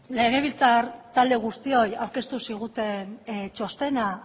legebiltzar talde guztioi aurkeztu ziguten txostena